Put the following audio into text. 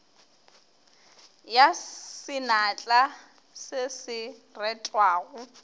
ya senatla se se retwago